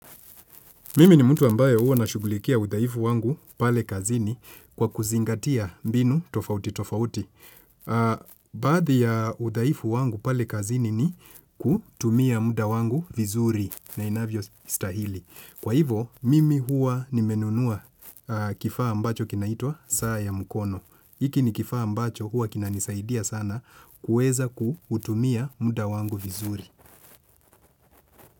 Mimi ni mtu ambaye uwa na shughulikia udhaifu wangu pale kazini kwa kuzingatia mbinu tofautitofauti. Baadhi ya udhaifu wangu pale kazini ni kutumia muda wangu vizuri na inavyostahili. Kwa hivo, mimi huwa nimenunua kifaa ambacho kinaitwa saa ya mkono. Hiki ni kifaa ambacho huwa kinanisaidia sana kuweza kutumia muda wangu vizuri.